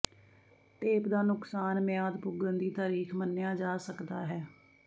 tape ਦਾ ਨੁਕਸਾਨ ਮਿਆਦ ਪੁੱਗਣ ਦੀ ਤਾਰੀਖ ਮੰਨਿਆ ਜਾ ਸਕਦਾ ਹੈ